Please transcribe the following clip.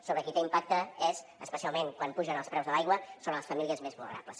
sobre qui té impacte és especialment quan pugen els preus de l’aigua sobre les famílies més vulnerables